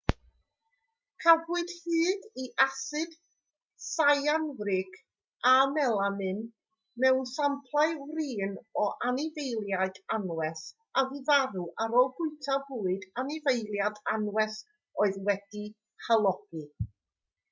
cafwyd hyd i asid syanwrig a melamin mewn samplau wrin o anifeiliaid anwes a fu farw ar ôl bwyta bwyd anifeiliaid anwes oedd wedi'i halogi